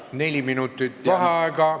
Neli minutit vaheaega.